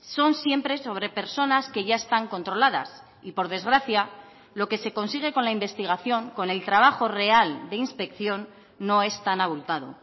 son siempre sobre personas que ya están controladas y por desgracia lo que se consigue con la investigación con el trabajo real de inspección no es tan abultado